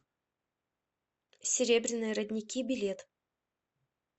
серебряные родники билет